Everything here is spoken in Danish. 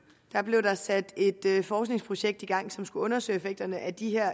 blev der sat et forskningsprojekt i gang som skulle undersøge effekterne af de